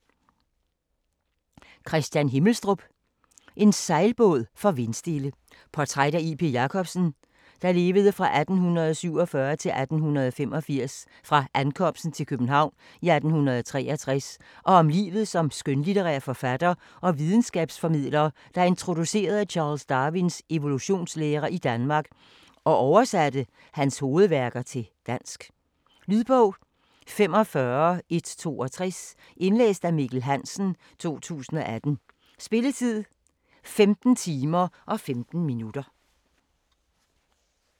Himmelstrup, Kristian: En sejlbåd for vindstille Portræt af J. P. Jacobsen (1847-1885) fra ankomsten til København i 1863 og om livet som skønlitterær forfatter og videnskabsformidler, der introducerede Charles Darwins evolutionslære i Danmark og oversatte hans hovedværker til dansk. Lydbog 45162 Indlæst af Mikkel Hansen, 2018. Spilletid: 15 timer, 15 minutter.